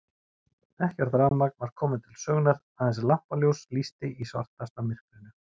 Ekkert rafmagn var komið til sögunnar, aðeins lampaljós lýsti í svartasta myrkrinu.